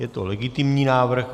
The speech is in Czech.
Je to legitimní návrh.